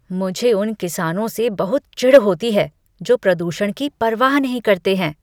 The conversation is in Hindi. मुझे उन किसानों से बहुत चिढ़ होती है जो प्रदूषण की परवाह नहीं करते हैं।